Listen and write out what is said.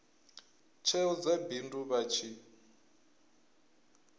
tsheo dza bindu vha tshi